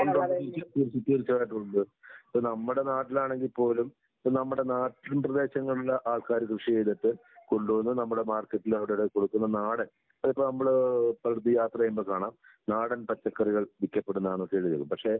ഉണ്ട്, ഉണ്ട് തീർച്ച തീർച്ചയായിട്ടും ഉണ്ട്. ഇപ്പൊ നമ്മുടെ നാട്ടിലാണെങ്കി പോലും ഇപ്പൊ നമ്മുടെ നാട്ടിൻ പ്രദേശങ്ങളിലെ ആൾക്കാര് കൃഷി ചെയ്തിട്ട് കൊണ്ടുവന്ന് നമ്മുടെ മാർക്കറ്റില് അവിടെ ഇവിടെയൊക്കെ കൊടുക്കുന്ന നാടൻ അതിപ്പെ നമ്മള് പലയിടത്തും യാത്ര ചെയ്യുമ്പോൾ കാണാം, നാടൻ പച്ചക്കറികൾ വിക്കപ്പെടുന്നതാണെന്നൊക്കെ എഴുതി വയ്ക്കും പക്ഷെ